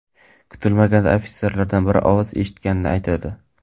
Kutilmaganda ofitserlardan biri ovoz eshitganini aytadi.